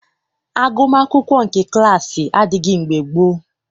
Agụmaakwụkwọ nke klaasị adịghị mgbe gboo.